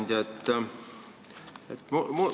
Hea ettekandja!